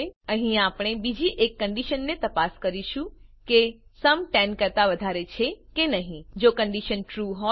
અહીં આપણે બીજી એક કંડીશનને તપાસ કરીશું કે સુમ 10 કરતા વધારે છે કે નહી જો કંડીશન ટ્રૂ હોય